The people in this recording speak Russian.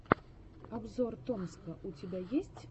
обзор томска у тебя есть